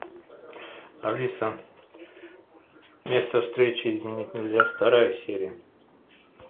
алиса место встречи изменить нельзя вторая серия